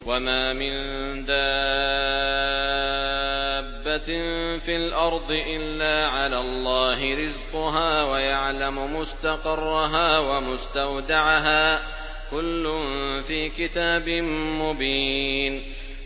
۞ وَمَا مِن دَابَّةٍ فِي الْأَرْضِ إِلَّا عَلَى اللَّهِ رِزْقُهَا وَيَعْلَمُ مُسْتَقَرَّهَا وَمُسْتَوْدَعَهَا ۚ كُلٌّ فِي كِتَابٍ مُّبِينٍ